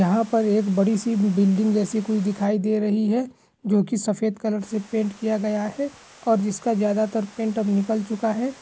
यहाँ पर एक बड़ी सी बिल्डिंग जैसी कुछ दिखाई दे रही है जो की सफेद कलर से पेंट किया गया है और जिसका ज्यादातर पेंट अब निकल चुका है।